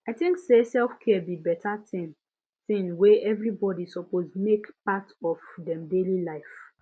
i tink say selfcare be beta thing thing wey everybody suppose make part of dem daily life